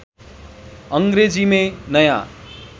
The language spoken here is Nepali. अङ्ग्रेजी मेँ नयाँ